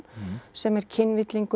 sem er